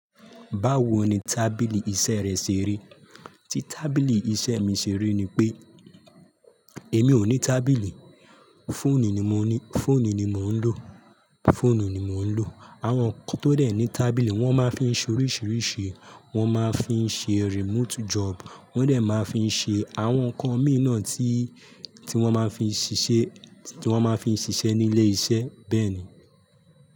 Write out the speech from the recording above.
Báwo ni tábìlì iṣẹ́ rẹ ṣe rí? Tí tábìlì iṣẹ́ mi ṣe rí ni pé èmi ò ní tábìlì, fóònù ni mò ń lo, fóònù ni mò ń lo. Àwọn kan tó dé ní tábìlì, wọ́n máa fín ṣe oríṣìíríṣìí, wọ́n máa fín ṣe remote job, wọ́n dè máa fín ṣe àwọn nǹkan mi náà tí, tí wọ́n máa fín ṣiṣẹ́, tí wọ́n máa fín ṣiṣẹ́ ní ilé iṣẹ́, bẹ́ẹ̀ ni.